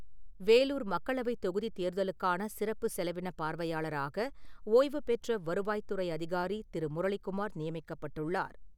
வேலூர் மக்களவைத் தொகுதி தேர்தலுக்கான சிறப்பு செலவின பார்வையாளராக, ஓய்வுபெற்ற வருவாய் துறை அதிகாரி திரு முரளிகுமார் நியமிக்கப்பட்டுள்ளார்.